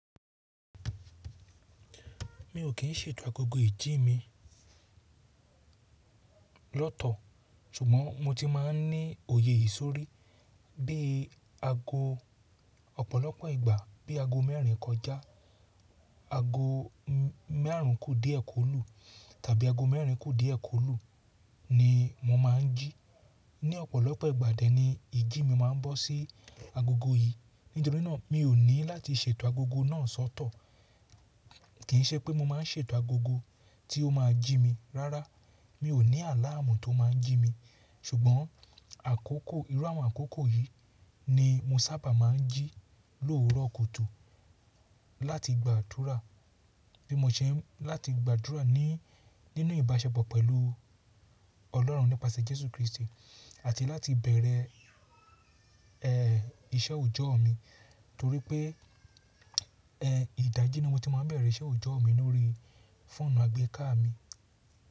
Mi ò kí n ṣètò agogo ìjí mi lọ́tọ̀, ṣùgbọ́n mo ti máa ń ní òye ì sọrí bí i ago ọ̀pọ̀lọpọ̀ ìgbà, bí i ago mẹ́rìn kọjá, ago márùn kú díẹ̀ kó lù tàbí ago mẹ́rìn kú díẹ̀ kó lù ni mo máa ń jí. Ní ọ̀pọ̀lọpọ̀ ìgbà dẹ́ni ìjí mi máa ń bọ́ sí agogo yìí. Nítorí náà mi ò ní láti ṣètò agogo náà sọ́tọ̀. Kì í ṣe pé mo máa ń ṣètò agogo tí ó máa jí mi. Rárá, mi ò ní àláàmú tó máa ń jí mi. Ṣùgbọ́n àkókò, irú àwọn àkókò yìí ni mo sábà máa ń jí lóòrò kùtù láti gbàdúrà. Bí mo ṣe ń láti gbàdúrà ní nínú ìbáṣepọ̀ pẹ̀lú Ọlọ́run nípasẹ̀ Jésù Kristi àti láti bẹ̀rẹ̀, ẹ́, iṣẹ́ òjọ́ mi. Nítorí pé, ẹ́, ìdájí ni mo ti máa ń bẹ̀rẹ̀ iṣẹ́ òjọ́ mi lórí fóònù àgbéká mi.